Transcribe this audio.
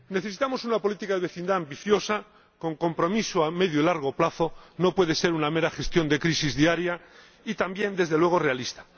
Necesitamos una política de vecindad ambiciosa, con compromiso a medio y largo plazo —no puede ser una mera gestión de crisis diaria— y también, desde luego, realista.